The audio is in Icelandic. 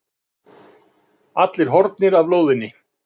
Allir horfnir af lóðinni.